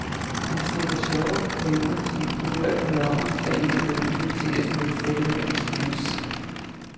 Han slipper sjove pointer som kulørte balloner, der ind imellem punkteres med et selvironisk knips.